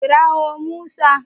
Kira wo Musa